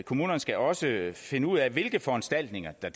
kommunerne skal også finde ud af hvilke foranstaltninger der